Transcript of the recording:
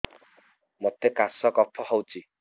ମୋତେ କାଶ କଫ ହଉଚି